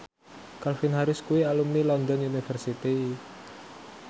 Calvin Harris kuwi alumni London University